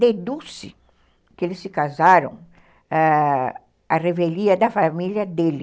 Deduz-se que eles se casaram à revelia da família dele.